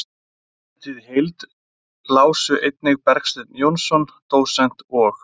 Handritið í heild lásu einnig Bergsteinn Jónsson dósent og